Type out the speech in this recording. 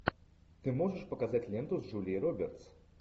ты можешь показать ленту с джулией робертс